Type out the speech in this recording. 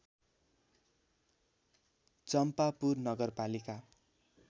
चम्पापुर नगरपालिका